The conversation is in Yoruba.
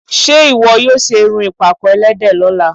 Ṣé ìwọ yóò ṣe irun ìpàkọ́ ẹlẹ́dẹ̀ lọ́la?